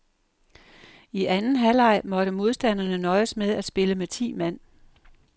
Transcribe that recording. I anden halvleg måtte modstanderne nøjes med at spille med ti mand.